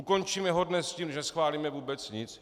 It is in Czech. Ukončíme ho dnes tím, že neschválíme vůbec nic?